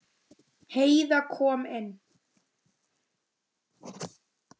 Heiða kom inn.